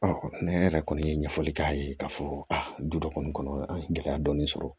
ne yɛrɛ kɔni ye ɲɛfɔli k'a ye k'a fɔ du dɔ kɔni kɔnɔ an ye gɛlɛya dɔɔni sɔrɔ